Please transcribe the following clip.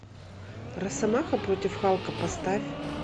росомаха против халка поставь